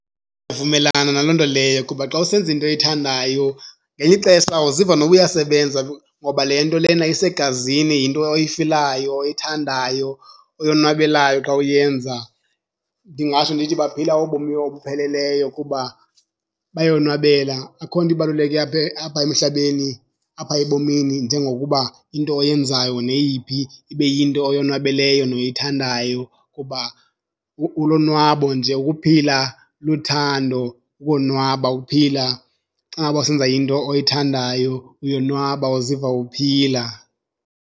Vumelana naloo nto leyo kuba xa usenza into oyithandayo ngelinye ixesha awuziva noba uyasebenza ngoba le nto lena isegazini, yinto oyifilayo oyithandayo oyonwabelayo xa uyenza. Ndingatsho ndithi baphila ubomi obupheleleyo kuba bayonwabela. Akho nto ibaluleke apha apha emhlabeni, apha ebomini njengokuba into oyenzayo neyiphi ibe yinto oyonwabeleyo noyithandayo kuba ulonwabo nje, ukuphila luthando, ukonwaba ukuphila. Xa ngaba usenza into oyithandayo uyonwaba uziva uphila.